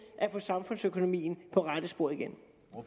at få samfundsøkonomien på rette spor igen